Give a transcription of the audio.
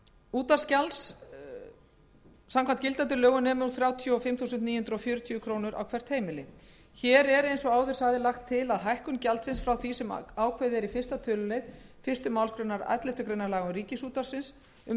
útvarpsgjalds samkvæmt gildandi lögum nemur nú þrjátíu og fimm þúsund níu hundruð fjörutíu krónur á hvert heimili hér er eins og áður segir lagt til að hækkun gjaldsins frá því sem ákveðið er í fyrsta tölulið fyrstu málsgrein elleftu grein laga um